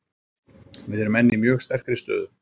Við erum enn í mjög sterkri stöðu.